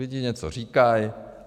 Lidi něco říkají.